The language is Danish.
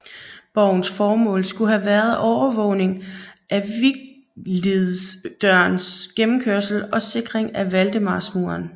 Borgens formål skulle have været overvågning af Viglidsdørens gennemkørsel og sikring af Valdemarsmuren